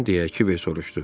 deyə Kiber soruşdu.